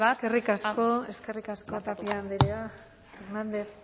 llevar a cabo eskerrik asko tapia andrea hernández